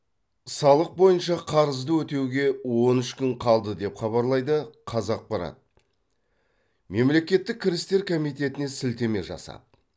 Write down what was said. салық бойынша қарызды өтеуге он үш күн қалды деп хабарлайды қазақпарат мемлекеттік кірістер комитетіне сілтеме жасап